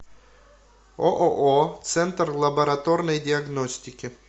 ооо центр лабораторной диагностики